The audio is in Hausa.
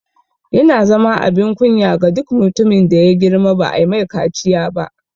Yana zama abin kunya ga duk mutumin da ya girma ba'a mai kaciya ba